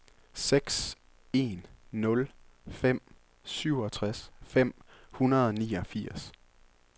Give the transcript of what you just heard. seks en nul fem syvogtres fem hundrede og niogfirs